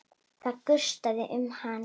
Það gustaði um hann.